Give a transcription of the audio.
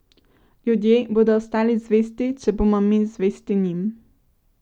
Ljudje bodo ostali zvesti, če bomo mi zvesti njim.